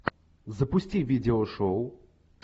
запусти видео шоу